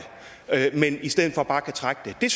men i stedet for bare kan trække det